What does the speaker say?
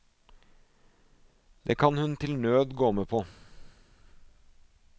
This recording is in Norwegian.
Det kan hun til nød gå med på.